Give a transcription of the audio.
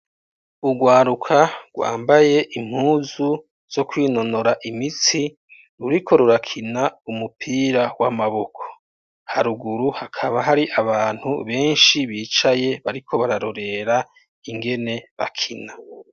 Urwaruka, rwambaye impuzu zo kwinonora imitsi, ruriko rurakina umupira w'amaboko; haruguru, hakaba hari abantu benshi, bicaye, bariko bararorera ingene bakina.